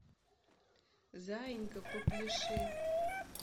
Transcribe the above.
заинька попляши